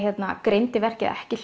greindi verkið ekki